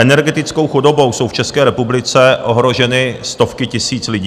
Energetickou chudobou jsou v České republice ohroženy stovky tisíc lidí.